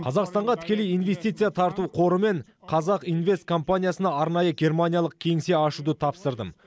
қазақстанға тікелей инвестиция тарту қоры мен қазақ инвест компаниясына арнайы германиялық кеңсе ашуды тапсырдым